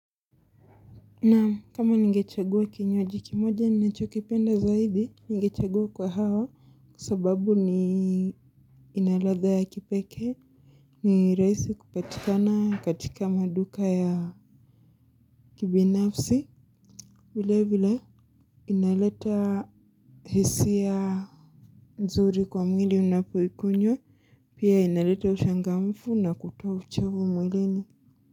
Naam, kama ningechagua kinywaji kimoja ninachokipenda zaidi ningechagua kwahawa kwa sababu ni ina ladha ya kipekee ni raisi kupatikana katika maduka ya kibinafsi vile vile inaleta hisia nzuri kwa mwili ninapoikunywa pia inaleta ushangamfu na kutoa uchavu mwilini.